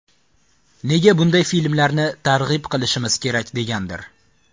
Nega bunday filmlarni targ‘ib qilishimiz kerak degandir.